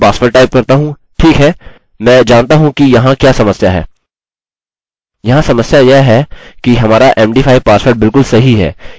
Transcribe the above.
मैं अपना password type करता हूँ ठीक है मैं जानता हूँ कि यहाँ क्या समस्या है